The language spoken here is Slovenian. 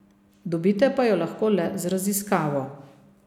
Dobite pa jo lahko le z raziskavo.